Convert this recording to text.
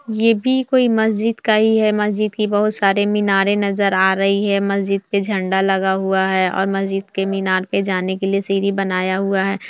ये भी कोई मस्जिद का ही है मस्जिद की बहुत सारे मीनारे नजर आ रही हैं मस्जिद पे झंडा लगा हुआ है और मस्जिद के मीनारे पे जाने के लिए सीढ़ी बनाया हुआ है।